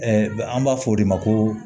an b'a fɔ o de ma ko